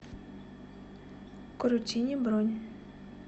крутини бронь